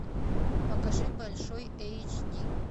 покажи большой эйч ди